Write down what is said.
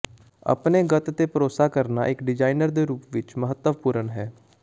ਆਪਣੇ ਗੱਤ ਤੇ ਭਰੋਸਾ ਕਰਨਾ ਇੱਕ ਡਿਜ਼ਾਇਨਰ ਦੇ ਰੂਪ ਵਿੱਚ ਮਹੱਤਵਪੂਰਣ ਹੈ